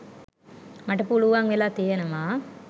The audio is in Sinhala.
මට පුළුවන් වෙලා තියෙනවා